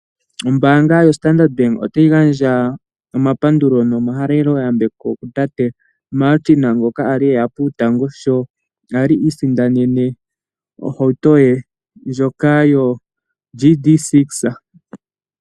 Ombaanga yoStandard bank otayi gandja omapandulo nomahaleloyambeko kutate Martin ngoka kwali eya puutango sho kwali a isindanene ohauto ye ndjoka yoGD6.